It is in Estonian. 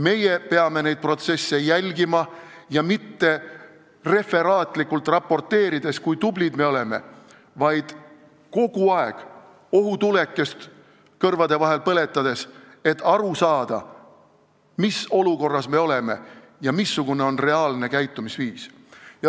Meie peame neid protsesse jälgima ja mitte referaatlikult raporteerides, kui tublid me oleme, vaid kogu aeg kõrvade vahel ohutulukest põletades, et aru saada, mis olukorras me oleme ja missugune on reaalne käitumisviis.